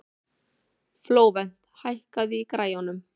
Flóvent, hækkaðu í græjunum.